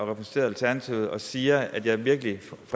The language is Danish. repræsenterer alternativet og siger at jeg virkelig